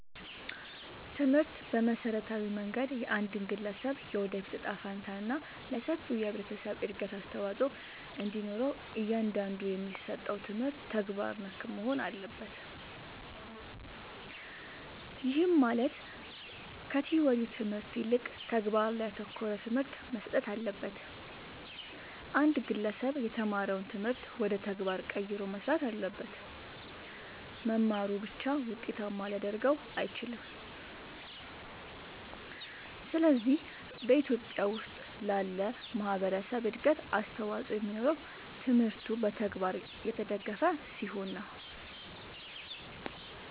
ትምህርት በመሠረታዊ መንገድ የአንድን ግለሠብ የወደፊት እጣ ፈንታ እና ለሠፊው የህብረተሠብ እድገት አስተዋፅኦ እንዲኖረው እያንዳንዱ የሚሠጠው ትምህርት ተግባር ነክ መሆን አለበት። ይህም ማለት ከቲወሪው ትምህርት ይልቅ ተግባር ላይ ያተኮረ ትምህርት መሠጠት አለበት። አንድ ግለሠብ የተማረውን ትምህርት ወደ ተግባር ቀይሮ መሥራት አለበት። መማሩ ብቻ ውጤታማ ሊያደርገው አይችልም። ስለዚህ በኢትዮጲያ ውስጥ ላለ ማህበረሠብ እድገት አስተዋፅኦ የሚኖረው ትምህርቱ በተግባር የተደገፈ ሲሆን ነው።